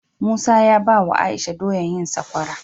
Musa ya bawa aisha doyar yin sakwara